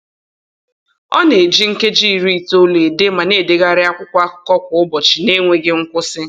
Ọ na-eji nkeji iri itoolu ede ma na-edegharị akwụkwọ akụkọ kwa ụbọchị n'enweghị nkwusị